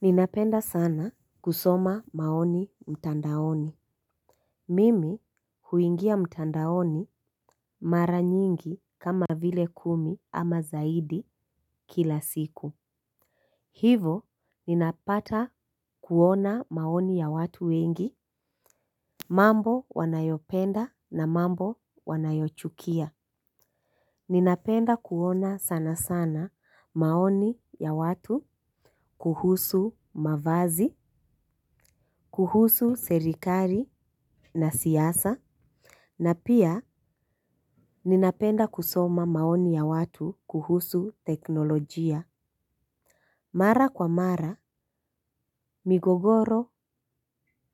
Ninapenda sana kusoma maoni mtandaoni. Mimi huingia mtandaoni mara nyingi kama vile kumi ama zaidi kila siku. Hivo ninapata kuona maoni ya watu wengi mambo wanayopenda na mambo wanayochukia. Ninapenda kuona sana sana maoni ya watu kuhusu mavazi, kuhusu serikali na siasa na pia ninapenda kusoma maoni ya watu kuhusu teknolojia. Mara kwa mara migogoro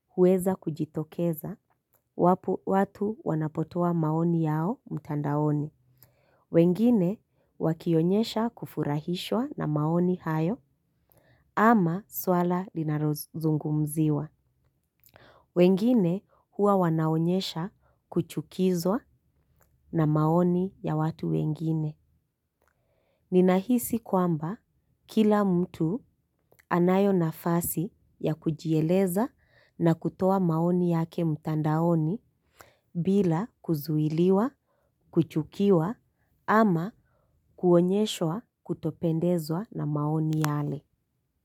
huweza kujitokeza wapo watu wanapotoa maoni yao mtandaoni. Wengine wakionyesha kufurahishwa na maoni hayo ama swala linalo zungumziwa. Wengine huwa wanaonyesha kuchukizwa na maoni ya watu wengine. Ninahisi kwamba kila mtu anayo nafasi ya kujieleza na kutoa maoni yake mtandaoni bila kuzuiliwa, kuchukiwa ama kuonyeshwa kutopendezwa na maoni yale.